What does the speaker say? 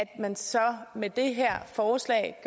at man så med det her forslag